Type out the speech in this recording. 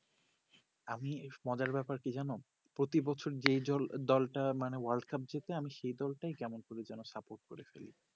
আমি বেশ মজার ব্যাপার কি জানো প্রতি বছর যে দলটা মানে world cup যেতে আমি সেই দল টাই কেমন করে যেন support করে ফেলি